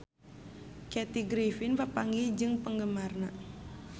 Kathy Griffin papanggih jeung penggemarna